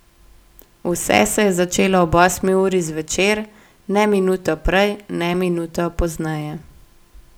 Vse se je začelo ob osmi uri zvečer, ne minuto prej ne minuto pozneje.